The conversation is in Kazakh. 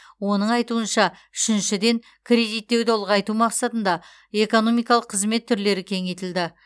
оның айтуынша үшіншіден кредиттеуді ұлғайту мақсатында экономикалық қызмет түрлері кеңейтілді